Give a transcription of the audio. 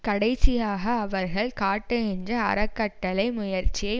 கடைசியாக அவர்கள் காட்டுகின்ற அறக்கட்டளை முயற்சியை